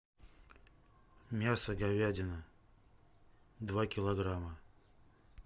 мясо говядина два килограмма